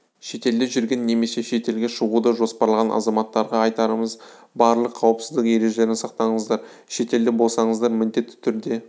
шетелде жүрген немесе шетелге шығуды жоспарлаған азаматтарға айтарымыз барлық қауіпсіздік ережелерін сақтаңыздар шетелде болсаңыздар міндетті түрде